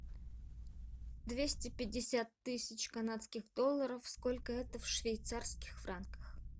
двести пятьдесят тысяч канадских долларов сколько это в швейцарских франках